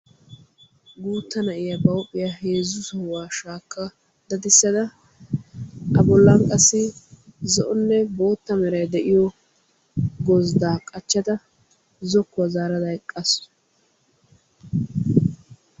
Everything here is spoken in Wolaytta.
Guutta na'iyaa ba huuphphiyaa heezzu sohuwaa shaakka daddisada a bollan qassi zo'onne bootta meray de'iyoo gozddaa qachchada zokkuwaa zaarada eqqasu.